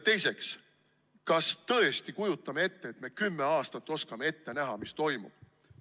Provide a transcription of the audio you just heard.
Teiseks, kas me tõesti kujutame ette, et me oskame kümne aasta võrra ette näha, mis toimuma hakkab?